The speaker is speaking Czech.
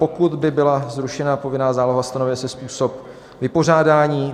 Pokud by byla zrušena povinná záloha, stanovuje se způsob vypořádání.